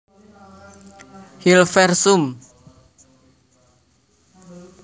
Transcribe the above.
Hilversum